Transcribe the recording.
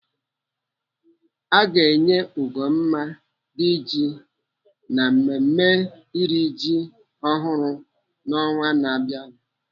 Aga enye Ugomma Diji na mmemme iri ji ọhụrụ n'ọnwa na-abịanụ.